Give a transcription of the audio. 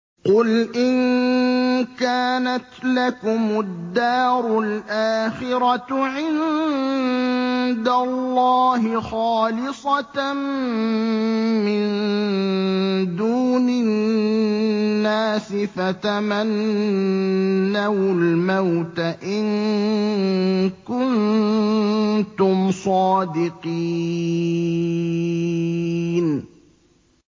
قُلْ إِن كَانَتْ لَكُمُ الدَّارُ الْآخِرَةُ عِندَ اللَّهِ خَالِصَةً مِّن دُونِ النَّاسِ فَتَمَنَّوُا الْمَوْتَ إِن كُنتُمْ صَادِقِينَ